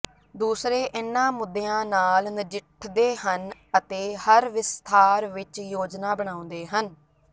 ਦੂਸਰੇ ਇਨ੍ਹਾਂ ਮੁੱਦਿਆਂ ਨਾਲ ਨਜਿੱਠਦੇ ਹਨ ਅਤੇ ਹਰ ਵਿਸਥਾਰ ਵਿਚ ਯੋਜਨਾ ਬਣਾਉਂਦੇ ਹਨ